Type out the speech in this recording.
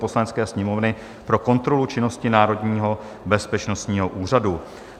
Poslanecké sněmovny pro kontrolu činnosti Národního bezpečnostního úřadu